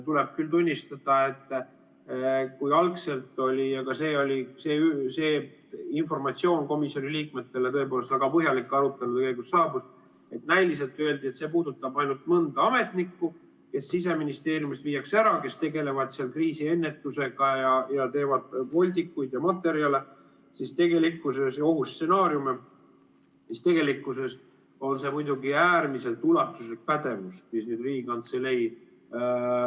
Tuleb küll tunnistada, et kui algselt öeldi – aga see väga põhjalik informatsioon komisjoni liikmetele tõepoolest arutelu käigus saabus –, et see puudutab ainult mõnda ametnikku, kes Siseministeeriumist ära viiakse, neid, kes tegelevad kriisiennetusega ja teevad voldikuid ja materjale ja ohustsenaariume, siis tegelikkuses on see muidugi äärmiselt ulatuslik pädevus, mis Riigikantseleile läheb.